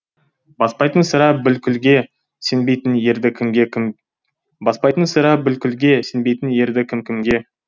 баспайтын сірә бүлкілге сенбейтін ерді кім кімге